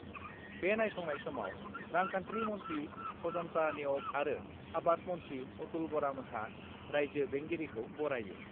बे नायसंनाय समाव रांखान्थि मन्थ्रि अजन्ता नेउग आरो आबाद मन्थ्रि अतुल बरामोनहा राइज्यो बेंगिरिखौ बरायो।